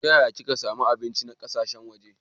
Ta yaya keka samu kayan abinci na kasashen waje?